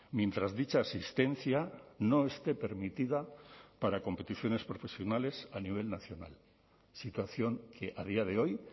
mientras dicha asistencia no esté permitida para competiciones profesionales a nivel nacional situación que a día de hoy